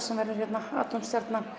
sem verður hérna